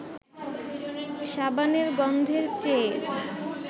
সাবানের গন্ধের চেয়ে